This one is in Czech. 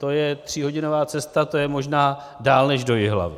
To je tříhodinová cesta, to je možná dál než do Jihlavy.